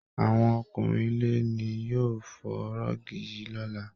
Àwọn ọkùnrin ilé ni yóò fọ rọ́ọ̀gì yìí lọ́lá